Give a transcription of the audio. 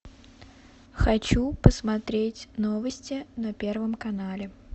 хочу посмотреть новости на первом канале